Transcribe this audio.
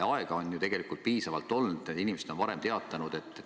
Aega on ju piisavalt olnud, inimesed on lahkumisest varem teatanud.